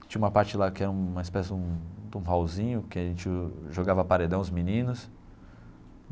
Tinha uma parte lá que era um uma espécie de um de um hallzinho, que a gente jogava paredão, os meninos.